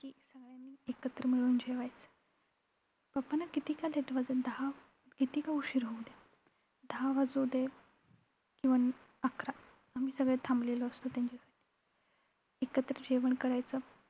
एकत्र मिळून जेवायचं. papa ना कितीका वाजून दहा कितीका उशीर होऊ द्या. दहा वाजू दे अं अकरा आम्ही सगळे थांबलेले असतो त्यांच्यानं त्यांच्यासाठी एकत्र जेवण करायचं.